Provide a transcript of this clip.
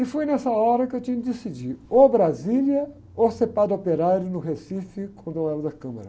E foi nessa hora que eu tinha que decidir, ou Brasília ou ser padre operário no Recife, quando eu era da Câmara.